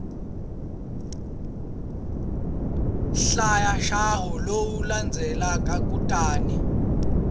hlaya ntshaho lowu landzelaka kutani